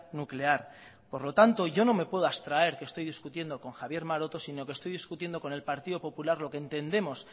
nuclear por lo tanto yo no me puedo abstraer que estoy discutiendo con javier maroto sino que estoy discutiendo con el partido popular lo que entendemos